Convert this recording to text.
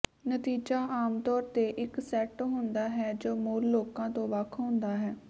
ਨਤੀਜਾ ਆਮਤੌਰ ਤੇ ਇੱਕ ਸੈੱਟ ਹੁੰਦਾ ਹੈ ਜੋ ਮੂਲ ਲੋਕਾਂ ਤੋਂ ਵੱਖ ਹੁੰਦਾ ਹੈ